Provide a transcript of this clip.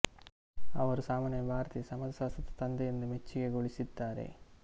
ಅವರು ಸಾಮಾನ್ಯವಾಗಿ ಭಾರತೀಯ ಸಮಾಜಶಾಸ್ತ್ರದ ತಂದೆ ಎಂದು ಮೆಚ್ಚುಗೆ ಗೊಳಿಸಿದಾರೆ